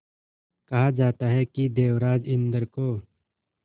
कहा जाता है कि देवराज इंद्र को